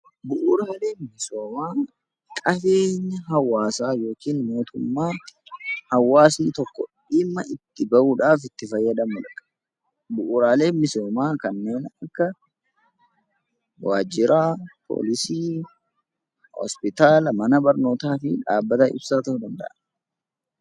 Bu'uuraaleen misoomaa qabeenyi hawaasaa yookiin mootummaa hawaasni tokko dhimma itti bahuudhaaf itti fayyadamudha. Bu'uuraaleen misoomaa kanneen akka waajjira poolisii, hospitaala, mana barnootaa fi dhaabbata ibsaa ta'uu danda'a .